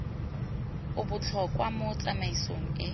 e botlhokwa mo tsamaisong e